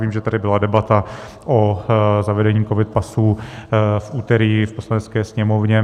Vím, že tady byla debata o zavedení covid pasů v úterý v Poslanecké sněmovně.